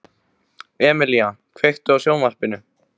Emelía, kveiktu á sjónvarpinu.